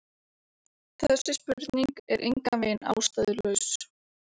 Þessi spurning er engan veginn ástæðulaus.